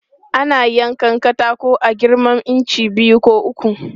Ana yankan katako a girman inci biyu ko uku.